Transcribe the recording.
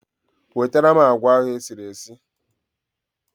Wetara m agwa ahụ esiri esi